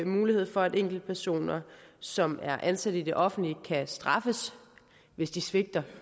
mulighed for at enkeltpersoner som er ansat i det offentlige kan straffes hvis de svigter